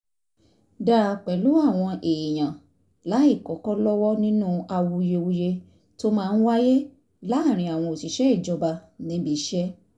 dáa pẹ̀lú àwọn èèyàn láìkọ́kọ́ lọ́wọ́ nínú awuyewuye tó máa ń wáyé láàárín àwọn òṣìṣẹ́ ìjọba níbi iṣẹ́